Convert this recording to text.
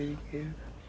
Seringueiro.